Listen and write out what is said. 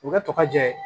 U bɛ tɔgɔ jɛ